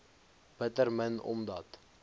bitter min omdat